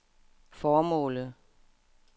formålet